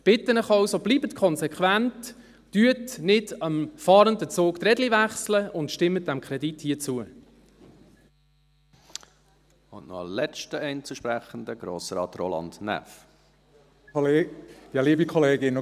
Ich bitte Sie also, bleiben Sie konsequent, wechseln Sie nicht einem fahrenden Zug die Räder, und stimmen Sie diesem Kredit hier zu.